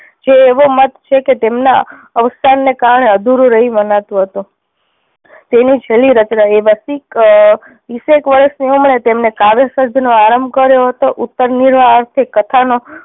કે એવો મત છે કે તેમના અવસાન ના કારણે અધૂરું રહયું મનાતું હતું. તેની છેલ્લી રચના એ વસ્તી ક તીસેક વર્ષની ઉમરે તેમણે કાવ્ય સર્જન નો આરંભ કર્યો હતો. ઉત્તર નિર્વાહ અર્થે કથાનો